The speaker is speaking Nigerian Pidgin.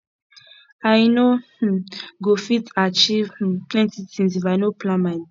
i no um go fit achieve um plenty tins if i no plan my day